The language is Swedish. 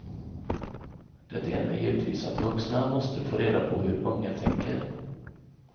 Det ena är givetvis att vuxna måste få reda på hur unga tänker.